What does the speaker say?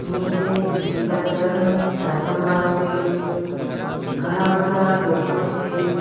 નીચે લીલા કલર નું જાજમ વાથરેલું છે ઘણા બધા લોકો છે.